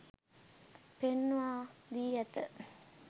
පෙන්වා දී ඇත.